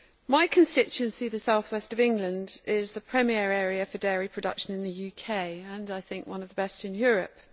My constituency, the South West of England, is the premier area for dairy production in the UK and, I think, one of the best in Europe.